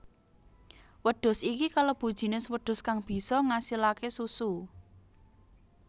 Wedhus iki kalebu jinis wedhus kang bisa ngasilaké susu